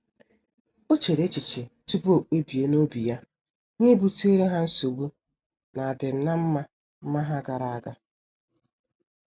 O chere echiche tupu o kpebie n'obi ya ihe butere ha nsogbu n'adim na mma mma ha gara aga.